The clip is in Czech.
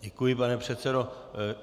Děkuji, pane předsedo.